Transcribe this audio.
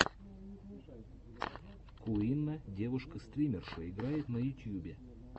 куинна девушка стримерша играет на ютьюбе